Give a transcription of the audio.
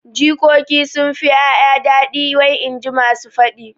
Jikoki sunfi ƴaƴa daɗi wai inji masu faɗi